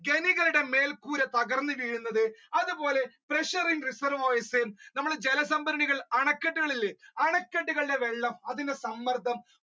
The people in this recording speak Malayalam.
ചെടികളുടെ മേൽക്കൂര തകർന്ന് വീരുന്നത് അതുപോലെ pressure in reservoirs നമ്മൾ ജലസംഭരണികൾ അണക്കെട്ടുകൾ അണക്കെട്ടുകളുടെ വെള്ളം അതിന്റെ സമ്മർദ്ദം